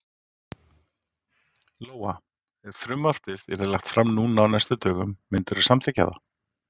Lóa: Ef frumvarpið yrði lagt fram núna á næstu dögum myndirðu samþykkja það?